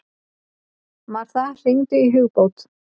Martha, hringdu í Hugbót.